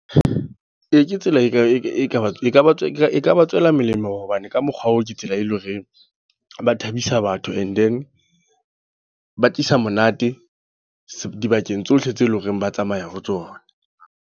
Ee, kaba ekaba e ka ba tswela molemo, hobane ka mokgwa oo ke tsela e leng hore ba thabisa batho. And then ba tlisa monate dibakeng tsohle tseo eleng hore ba tsamaya ho tsona.